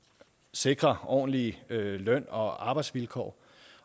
sikrer ordentlige løn og arbejdsvilkår